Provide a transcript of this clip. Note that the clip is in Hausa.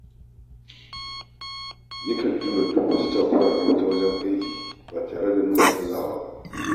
Yakan jure duk wata takura ta wajen aiki ba tare nuna gazawa ba.